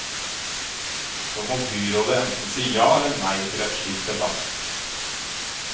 Så må byrådet enten si ja eller nei til en slik debatt.